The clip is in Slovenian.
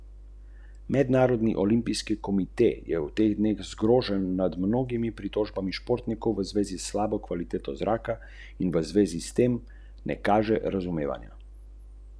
Je pa očitno, da je Janez nekaj tistega le vnesel v svoje smučanje.